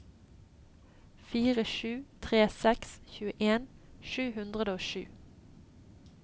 fire sju tre seks tjueen sju hundre og sju